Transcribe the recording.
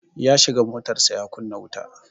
Ya shiga motarsa ​​ya kunna wuta.